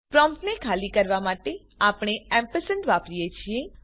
પ્રોમ્પ્ટને ખાલી કરવા માટે આપણે વાપરીએ છીએ